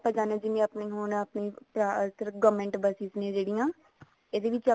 ਜਾਣੇ ਜਿਵੇਂ ਆਪਣੇ ਹੁਣ ਜਿਵੇ ਆਪਣੇ government buses ਨੇ ਜਿਹੜੀਆਂ ਇਹਦੇ ਵਿੱਚ